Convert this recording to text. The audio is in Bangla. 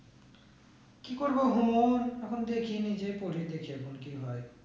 কি করবো এখন দেখিনি যে কেমন কি হয়ে